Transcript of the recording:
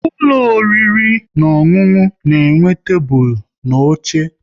Ụlọ oriri na ọṅụṅụ na-enwe tebụl na oche